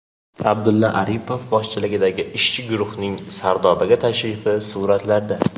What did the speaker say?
Abdulla Aripov boshchiligidagi ishchi guruhning Sardobaga tashrifi suratlarda.